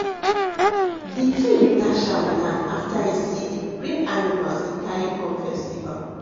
the king dash am land after e see d bring animals e carry come festival